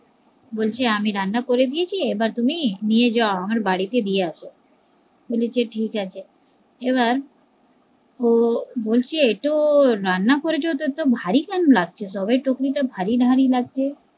বলছি আমি রান্না করে দিয়াছি এবার তুমি নিয়ে যাও আমার বাড়িতে দিয়ে আসো, বলেছি ঠিকাছে এবার ও বলছে এত রান্না করেছো এত ভারী কেন লাগছে, সব ভারী ভারী লাগছে